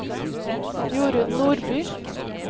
Jorun Nordby